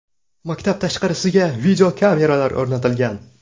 Maktab tashqarisiga videokameralar o‘rnatilgan.